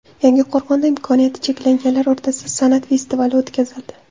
Yangiqo‘rg‘onda imkoniyati cheklanganlar o‘rtasida san’at festivali o‘tkazildi.